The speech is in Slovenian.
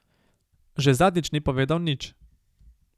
Že zadnjič ni povedal nič.